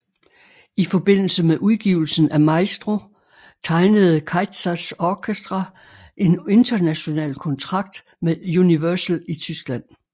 I forbindelse med udgivelsen af Maestro tegnede Kaizers Orchestra en international kontrakt med Universal i Tyskland